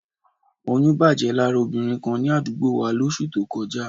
Oyún bàjẹ́ lára obìnrin kan ní àdúgbò wa lóṣù tó kọjá